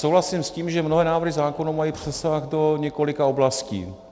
Souhlasím s tím, že mnohé návrhy zákonů mají přesah do několika oblastí.